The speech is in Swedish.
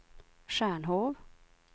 Stjärnhov